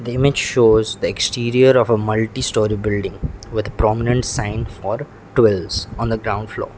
the image shows the exterior of a multistorey building with prominent sign for twills on the ground floor.